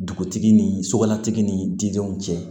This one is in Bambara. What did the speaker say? Dugutigi ni sokɔnɔtigi ni dindenw cɛ